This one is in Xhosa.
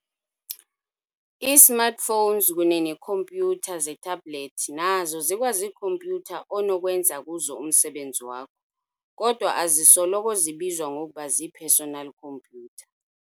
i-Smartphones kunye neekhompyutha ze-tablet nazo zikwaziikhompyutha onokwenza kuzo umsebenzi wakho, kodwa azisoloko zibizwa ngokuba zii-"personal khompyutha".